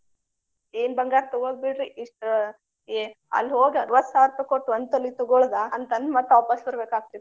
ಏನ ಬಂಗಾರ ತಗೊಳೋದ ಬಿಡ್ರಿ ಇಷ್ಟ ಆಹ್ ಅಲ್ಲಿ ಹೋಗಿ ಅರವತ್ತ ಸಾವಿರ ರೂಪಾಯಿ ಕೊಟ್ಟ ಒಂದ ತೊಲಿ ತಗೊಳೋದ ಅಂತ ಅಂದ ಮತ್ತ ವಾಪಸ್ ಬರ್ಬೇಕ ಆಗ್ತೆತಿ.